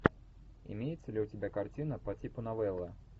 имеется ли у тебя картина по типу новелла